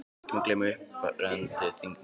Og ekki má gleyma upprennandi þingmanni